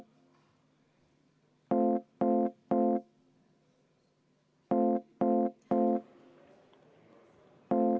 Vaheaeg kümme minutit.